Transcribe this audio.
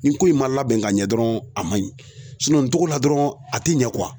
Nin ko in ma labɛn ka ɲɛ dɔrɔn a man ɲi n togo la dɔrɔn a ti ɲɛ